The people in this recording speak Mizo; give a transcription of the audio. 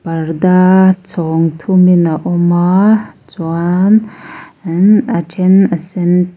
parda chhawng thumin a awm a chuan in a then a sen te--